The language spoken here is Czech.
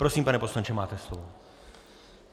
Prosím, pane poslanče, máte slovo.